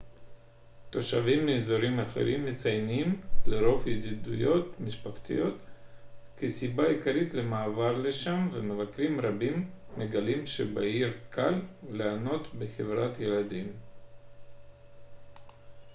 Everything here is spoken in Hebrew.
תושבים מאזורים אחרים מציינים לרוב ידידותיות משפחתית כסיבה עיקרית למעבר לשם ומבקרים רבים מגלים שבעיר קל ליהנות בחברת ילדים